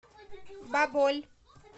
баболь